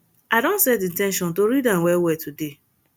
i don set in ten tion to read am well well today